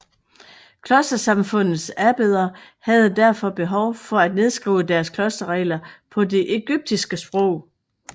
Klostersamfundenes abbeder havde derfor behov for at nedskrive deres klosterregler på det egyptiske sprog